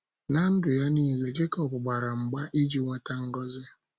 Ná ndụ ya nile, Jekọb gbara mgba iji nweta ngọzi